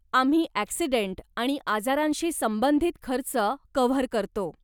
आम्ही ॲक्सिडेंट आणि आजारांशी संबंधित खर्च कव्हर करतो.